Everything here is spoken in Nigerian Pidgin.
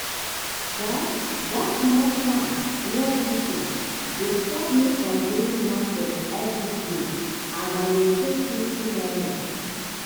that that small farm near kitchen dey stop me from going market everyday and i dey save 50 naira.